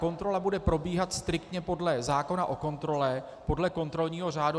Kontrola bude probíhat striktně podle zákona o kontrole, podle kontrolního řádu.